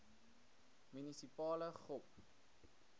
munisipale gop